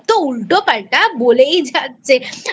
উল্টোপাল্টা বলেই যাচ্ছে